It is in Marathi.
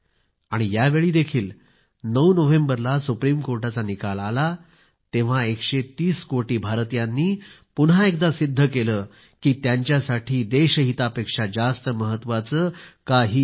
यावेळी देखील 9 नोव्हेंबरला सुप्रीम कोर्टाचा निकाल आला तेव्हा एकशे तीस कोटी भारतीयांनी पुन्हा एकदा सिद्ध केलं की त्यांच्यासाठी देश हितापेक्षा जास्त महत्वाचे काहीही नाही